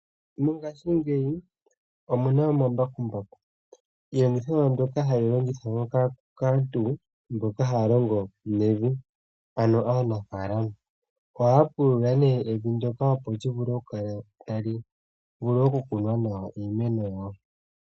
Mongaashi ngeyi omuna omambakumbaku, iiyendithomwa ndjoka hayi longithwa kaantu mboka haalongo nevi ano aanafalama ohaapulula née evi ndyoka tali vulu okumena iimeno yawo.